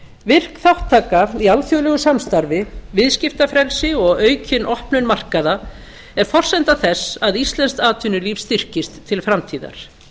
virk þátttaka í alþjóðlegu samstarfi viðskiptafrelsi og aukin opnun markaða er forsenda þess að íslenskt atvinnulíf styrkist til framtíðar